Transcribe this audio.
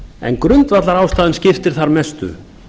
en grundvallarástæðan skiptir þar mestu